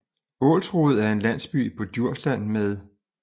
Ålsrode er en landsby på Djursland med